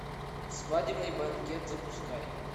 свадебный банкет запускай